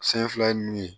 Sen fila ye mun ye